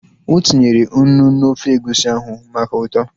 O tinyere unu n'ofe egusi ahụ maka ụtọ